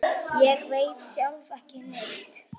Ég veit sjálf ekki neitt.